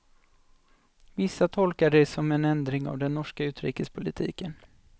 Vissa tolkade det som en ändring av den norska utrikespolitiken.